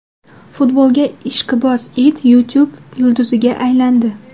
Futbolga ishqiboz it YouTube yulduziga aylandi.